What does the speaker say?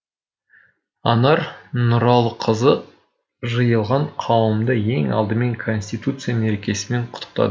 анар нұралықызы жиылған қауымды ең алдымен конституция мерекесімен құттықтады